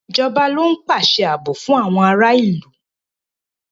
Ìjọba ló ń pàṣẹ ààbò fún àwọn ará ìlú.